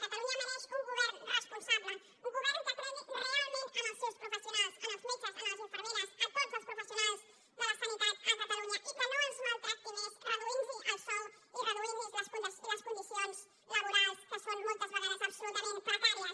catalunya mereix un govern responsable un govern que cregui realment en els seus professionals en els metges en les infermeres en tots els professionals de la sanitat a catalunya i que no els maltracti més reduint los el sou i reduint los les condicions laborals que són moltes vegades absolutament precàries